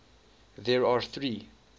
there are three